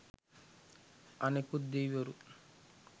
අනෙකුත් දෙවිවරු